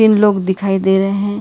तीन लोग दिखाई दे रहे हैं।